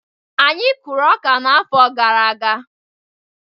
Anyị kụrụ ọka n'afọ gara aga.